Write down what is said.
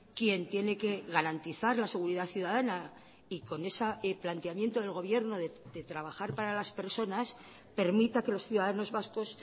quien tiene que garantizar la seguridad ciudadana y con ese planteamiento del gobierno de trabajar para las personas permita que los ciudadanos vascos